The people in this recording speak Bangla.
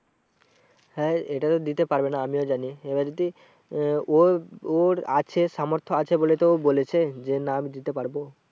হ্যাঁ এটা তো দিতে পারবে না আমিও জানি এবার যদি আহ ওর, ওর আছে সামর্থ আছে বলে তো ও বলেছে যে না আমি দিতে পারবো।